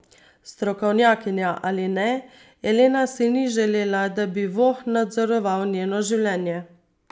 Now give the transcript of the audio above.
Strokovnjakinja ali ne, Elena si ni želela, da bi voh nadzoroval njeno življenje.